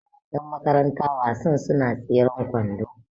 Yanmakaranta wasan suna tseren kwando